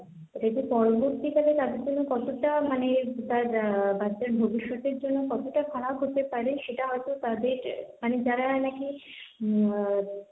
এটাকে পরবর্তীকালে তাদের জন্য কতটা মানে তার বাচ্চার ভবিষ্যতের জন্য কতটা খারাপ হতে পারে সেটা হয়তো তাদের মানে যারা নাকি উম,